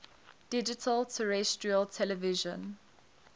digital terrestrial television